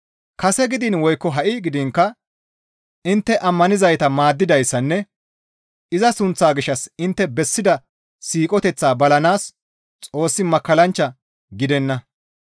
Kase gidiin woykko ha7i gidiinkka intte ammanizayta maaddidayssanne iza sunththaa gishshas intte bessida siiqoteththaa balanaas Xoossi makkallanchcha gidenna.